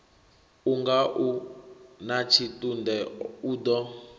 unga u natshitunde o ḓo